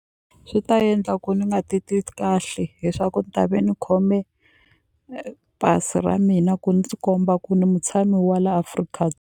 Swi ta endla ku ni nga titwi kahle hi swa ku ta ve ni khome pasi ra mina ku ndzi komba ku ni mutshami wa laha Afrika.